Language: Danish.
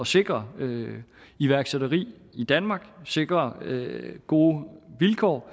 sikre iværksætteri i danmark og sikre gode vilkår